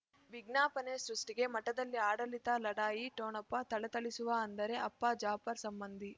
ವಿಜ್ಞಾಪನೆ ಸೃಷ್ಟಿಗೆ ಮಠದಲ್ಲಿ ಆಡಳಿತ ಲಢಾಯಿ ಠೊಣಪ ಥಳಥಳಿಸುವ ಅಂದರೆ ಅಪ್ಪ ಜಾಫರ್ ಸಂಬಂಧಿ